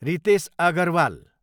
Ritesh Agarwal